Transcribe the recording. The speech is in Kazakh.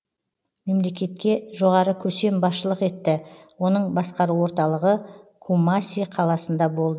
мемлекетке жоғары көсем басшылық етті оның басқару орталығы кумаси қаласында болды